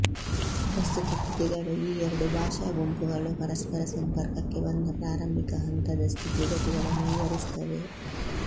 ಪ್ರಸ್ತುತ ಕೃತಿಗಳು ಈ ಎರಡು ಭಾಷಾಗುಂಪುಗಳು ಪರಸ್ಪರ ಸಂಪರ್ಕಕ್ಕೆ ಬಂದ ಪ್ರಾರಂಭಿಕ ಹಂತದ ಸ್ಥಿತಿ ಗತಿಗಳನ್ನು ವಿವರಿಸುತ್ತವೆ